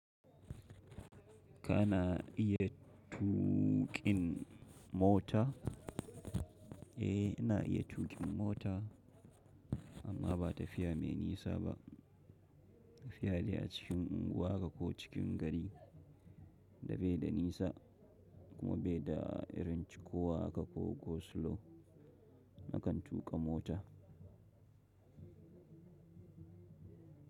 Kana iya tuƙin mota? Eh, ina iya tuƙin mota amma ba tafiya mai nisa ba. Tafiya de a cikin unguwa haka ko cikin gari da baida nisa kuma baida irin cikowa haka ko go slow nakan tuƙa mota.